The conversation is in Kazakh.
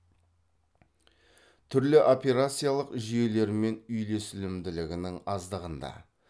түрлі операциялық жүйелермен үйлесімділігінің аздығында